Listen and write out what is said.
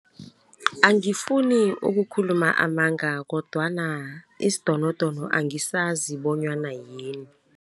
Angifuni ukukhuluma amanga kodwana isidonodono angisazi bonyana yini.